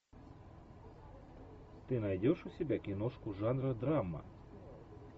ты найдешь у себя киношку жанра драма